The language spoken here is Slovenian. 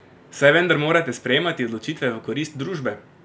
Saj vendar morate sprejemati odločitve v korist družbe!